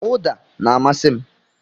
Uda na-amasị m.